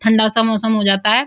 ठंडा सा मौसम हो जाता है।